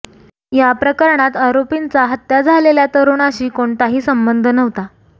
या प्रकरणात आरोपींचा हत्या झालेल्या तरूणाशी कोणताही संबंध नव्हता